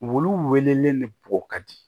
Wulu welelen de bo ka di